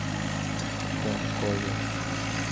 данкове